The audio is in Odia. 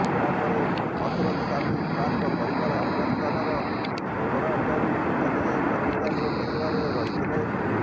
ଏହା ପରେ ଅରଶଦ ସାମି ଖାନଙ୍କ ପରିବାର ଆଫଗାନିସ୍ତାନର ହେରାତରୁ ଚାଲି ଯାଇ ପାକିସ୍ତାନର ପେଶାଓ୍ବରରେ ରହିଥିଲେ